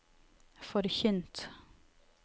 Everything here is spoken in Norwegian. forkynt